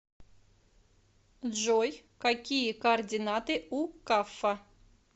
джой какие координаты у каффа